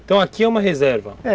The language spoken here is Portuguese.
Então, aqui é uma reserva?